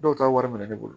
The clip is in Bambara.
Dɔw ta wari minɛ ne bolo